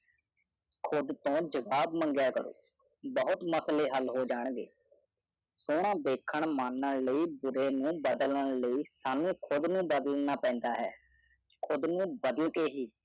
ਜਵਾਬ ਆਪਣੇ ਆਪ ਤੋਂ ਪੁੱਛੋ ਭੂਤ ਮਸਲਾ ਹੱਲ ਹੋ ਗਿਆ ਸੋਹਰਾ ਦੇਖਾਂ, ਇੱਜ਼ਤ ਦੀ ਖ਼ਾਤਰ, ਬੁਰੀ ਦੀ ਬਦਲੀ ਖ਼ਾਤਰ, ਆਪਣੇ ਭਲੇ ਲਈ, ਪਰਨਾਦਾ ਏ। ਖੂ ਨੋ ਬਾਦਲ ਕੀ ਹੈ